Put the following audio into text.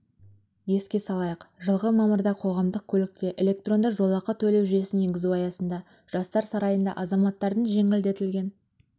еске салайық жылғы мамырда қоғамдық көлікте электронды жолақы төлеу жүйесін енгізу аясында жастар сарайында азаматтардың жеңілдетілген